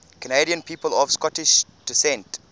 canadian people of scottish descent